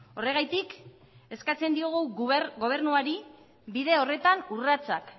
horregatik eskatzen diogu gobernuari bide horretan urratsak